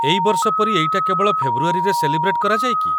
ଏଇ ବର୍ଷ ପରି ଏଇଟା କେବଳ ଫେବୃଆରୀରେ ସେଲିବ୍ରେଟ୍ କରାଯାଏ କି?